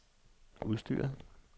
udstyret